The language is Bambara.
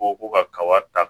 Ko ko ka kaba ta